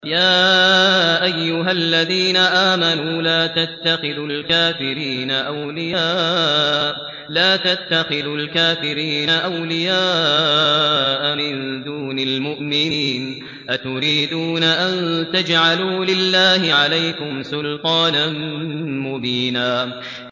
يَا أَيُّهَا الَّذِينَ آمَنُوا لَا تَتَّخِذُوا الْكَافِرِينَ أَوْلِيَاءَ مِن دُونِ الْمُؤْمِنِينَ ۚ أَتُرِيدُونَ أَن تَجْعَلُوا لِلَّهِ عَلَيْكُمْ سُلْطَانًا مُّبِينًا